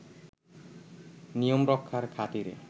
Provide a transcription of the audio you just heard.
নিয়ম রক্ষার খাতিরে